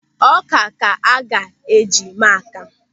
Ọ́kà ka a ga-eji mee àkàmụ̀